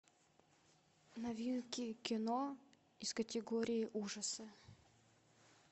новинки кино из категории ужасы